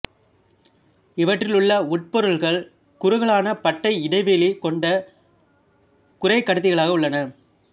இவற்றிலுள்ள உட்பொருட்கள் குறுகலான பட்டை இடைவெளி கொண்ட குறைக்கடத்திகளாக உள்ளன